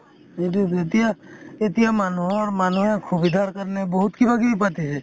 কিন্তু যেতিয়া, এতিয়া মানুহৰ মানুহে খুবিধাৰ কাৰণে বহুত কিবা কিবি পাতিছে